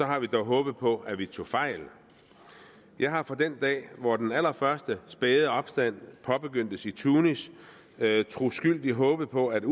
har vi dog håbet på at vi tog fejl jeg har fra den dag hvor den allerførste spæde opstand påbegyndtes i tunesien troskyldigt håbet på at